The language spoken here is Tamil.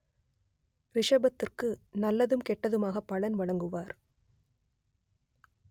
ரிஷபத்திற்கு நல்லதும் கெட்டதுமாக பலன் வழங்குவார்